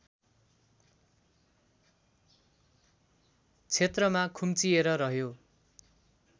क्षेत्रमा खुम्चिएर रह्यो